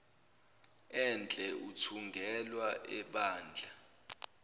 enhle ithungelwa ebandla